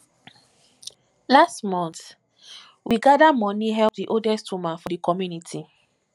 last month we gada moni help di oldest woman for di community